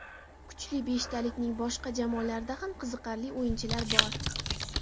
Kuchli beshtalikning boshqa jamoalarida ham qiziqarli o‘yinchilar bor.